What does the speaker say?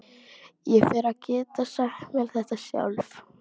Ég fer að geta sagt mér þetta sjálf.